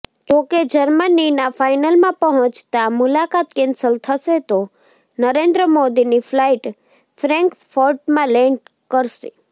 જો કે જર્મનીના ફાઇનલમાં પહોંચતાં મુલાકાત કેન્સલ થશે તો નરેન્દ્ર મોદીની ફ્લાઇટ ફ્રૈંકફર્ટમાં લેંડ કરશે